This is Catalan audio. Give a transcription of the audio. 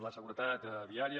la seguretat viària